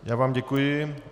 Já vám děkuji.